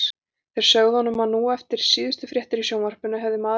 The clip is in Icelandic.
Þeir sögðu honum nú að eftir síðustu fréttir í sjónvarpinu hefði maður frá